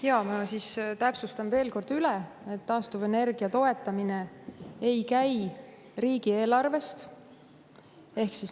Jaa, ma siis täpsustan veel kord üle, et taastuvenergia toetamine ei käi riigieelarvest.